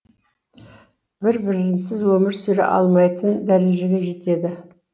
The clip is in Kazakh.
бір бірінсіз өмір сүре алмайтын дәрежеге жетеді